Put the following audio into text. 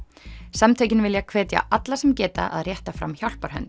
samtökin vilja hvetja alla sem geta að rétta fram hjálparhönd